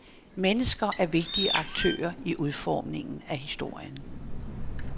Mennesker er vigtige aktører i udformningen af historien.